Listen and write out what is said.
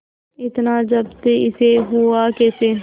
इतना जब्त इससे हुआ कैसे